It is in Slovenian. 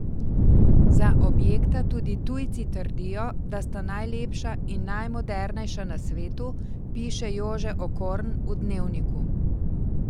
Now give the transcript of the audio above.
Za objekta tudi tujci trdijo, da sta najlepša in najmodernejša na svetu, piše Jože Okorn v Dnevniku.